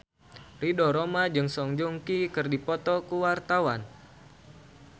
Ridho Roma jeung Song Joong Ki keur dipoto ku wartawan